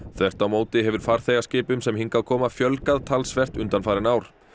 þvert á móti hefur farþegaskipum sem hingað koma fjölgað talsvert undanfarin ár